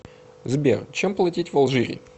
сбер чем платить в алжире